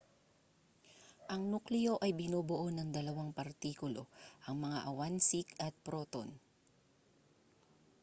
ang nukleo ay binubuo ng dalawang partikulo ang mga awansik at proton